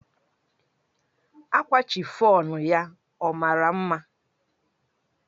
Akwa chifọnụ ya ọ mara mma?